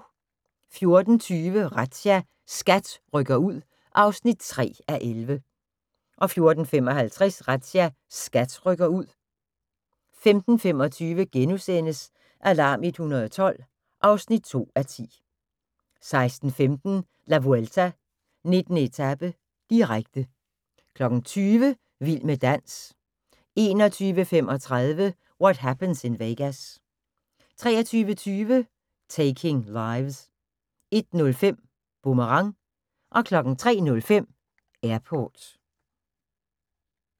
14:20: Razzia – SKAT rykker ud (3:11) 14:55: Razzia – SKAT rykker ud 15:25: Alarm 112 (2:10)* 16:15: La Vuelta: 19. etape, direkte 20:00: Vild med dans 21:35: What Happens in Vegas 23:20: Taking Lives 01:05: Boomerang 03:05: Airport